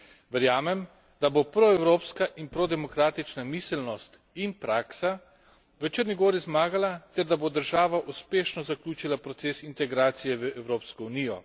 Verjamem, da bo proevropska in prodemokratična miselnost in praksa v Črni gori zmagala ter da bo država uspešno zaključila proces integracije v Evropsko unijo.